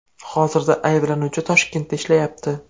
Hozirda ayblanuvchi Toshkentda ishlayapti.